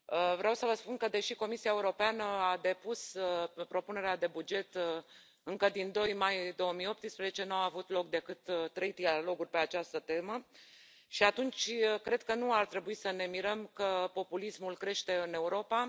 Vreau să vă spun că, deși Comisia Europeană a depus propunerea de buget încă din 2 mai 2018, n au avut loc decât trei triloguri pe această temă, și atunci cred că nu ar trebui să ne mirăm că populismul crește în Europa.